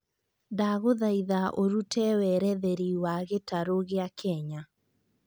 ndagũthaĩtha ũrũte weretheri wa gĩtarũ gĩa kenya